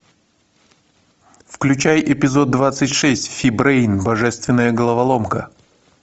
включай эпизод двадцать шесть фи брейн божественная головоломка